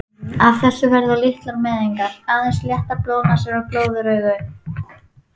Af þessu verða litlar meiðingar, aðeins léttar blóðnasir og glóðaraugu.